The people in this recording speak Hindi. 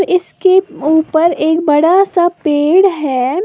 इसके उपर एक बड़ा सा पेड़ है।